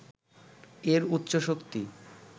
এর উচ্চ শক্তি